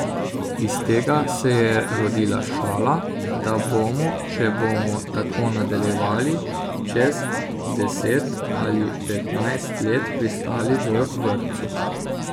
Iz tega se je rodila šala, da bomo, če bomo tako nadaljevali, čez deset ali petnajst let pristali v vrtcu.